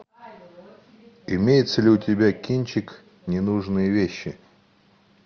имеется ли у тебя кинчик ненужные вещи